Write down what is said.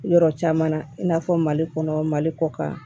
Yɔrɔ caman na i n'a fɔ mali kɔnɔ mali kɔ kan